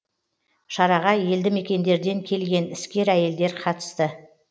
шараға елді мекендерден келген іскер әйелдер қатысты